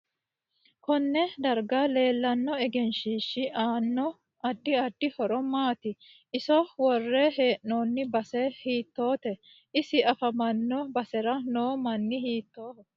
KOnne darga leelanno egenshiishi aanno addi addi horo maati iso wore heenooni base hiitoote isi afamano basera noo mini hiitooho